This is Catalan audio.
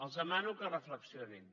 els demano que reflexionin